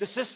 the